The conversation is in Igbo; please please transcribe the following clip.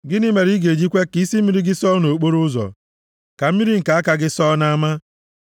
Gịnị mere ị ga-eji kwe ka isi mmiri gị sọọ nʼokporoụzọ, ka mmiri nke aka gị sọọ nʼama?